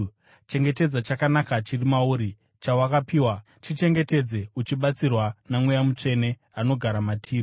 Chengetedza chakanaka chiri mauri chawakapiwa, chichengetedze uchibatsirwa naMweya Mutsvene anogara matiri.